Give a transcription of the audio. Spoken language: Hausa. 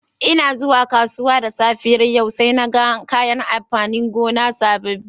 N'na zuwa kasuwa da safiyar yau saina gan kayan amfanin gona sabobi.